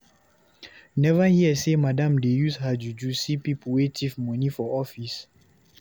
You neva hear sey madam dey use her juju see pipu wey tif moni for office?